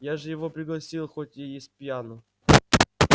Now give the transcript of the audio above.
я же его уже пригласил хоть и спьяну